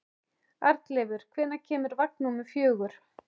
Arnleifur, hvenær kemur vagn númer fjögur?